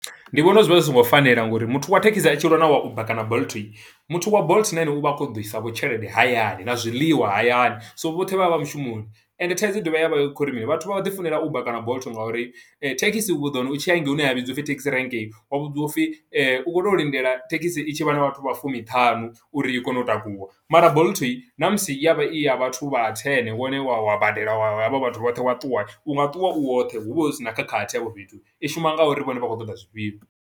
Ndi vhona uri zwi vha zwi songo fanela, nga uri muthu wa thekhisi i tshilwa na wa Uber kana Bolt, muthu wa Bolt na ene u vha a kho ṱoḓa u i sa vho tshelede hayani, na zwiḽiwa hayani. So vhoṱhe vha vha vha mushumoni, ende thaidzo i dovha ya vha i khou ri mini, vhathu vha ḓi funela Uber kana Bolt nga uri thekhisi u ḓo wana u tshi ya hangei hune ya vhidzwa u pfi thekhisi rank, wa vhudziwa u pfi u kho to lindela thekhisi i tshi vha na vhathu vha fumi-ṱhanu, uri i kone u takuwa. Mara Bolt na musi i ya vha i ya vhathu vha ten, wone wa wa badela, wa wa ha vha vhathu vhoṱhe wa ṱuwa, u nga ṱuwa u woṱhe, hu vha hu sina khakhathi hafho fhethu. I shuma nga uri vhone vha khou ṱoḓa zwifhio.